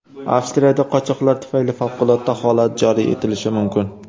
Avstriyada qochoqlar tufayli favqulodda holat joriy etilishi mumkin.